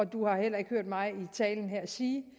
du heller ikke hørt mig sige